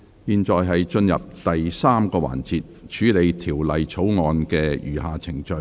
現在進入第三個環節，處理條例草案的餘下程序。